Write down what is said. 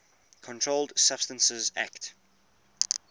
controlled substances acte